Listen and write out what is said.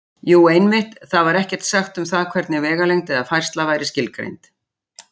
Jú, einmitt: Þar var ekkert sagt um það hvernig vegalengd eða færsla væri skilgreind!